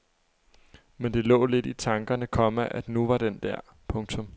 Men det lå lidt i tankerne, komma at nu var den der. punktum